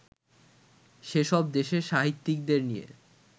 সেসব দেশের সাহিত্যিকদের নিয়ে